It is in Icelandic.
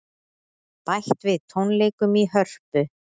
Bætt við tónleikum í Hörpu